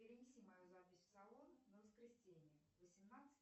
перенеси мою запись в салон на воскресенье восемнадцать